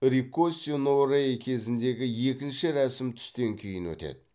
риккоси но рэй кезіндегі екінші рәсім түстен кейін өтеді